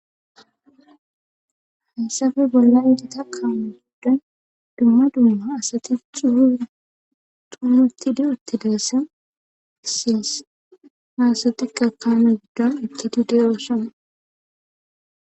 Hayssappe bollan gita kaame giddon dumma dumma macasati xumi utidi utidayssan besees. ha asatikka dalgga asati de'osona.